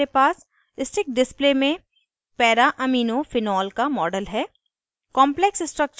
panel पर हमारे पास sticks display में paraaminophenol का model है